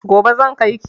Gobe zan kai ki.